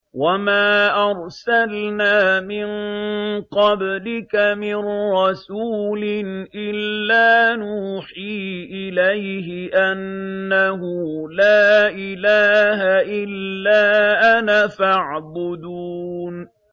وَمَا أَرْسَلْنَا مِن قَبْلِكَ مِن رَّسُولٍ إِلَّا نُوحِي إِلَيْهِ أَنَّهُ لَا إِلَٰهَ إِلَّا أَنَا فَاعْبُدُونِ